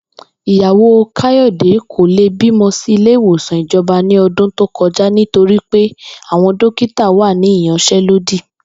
Ìyàwó Káyò̩dé kò lè bímó̩ sí ilé ìwòsàn ìjo̩ba ní o̩dún tó ko̩ja nítorí pé àwo̩n dókítà wà ní ìyans̩é̩lódì